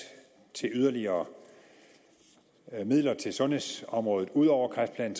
til at give yderligere midler til sundhedsområdet ud over kræftplan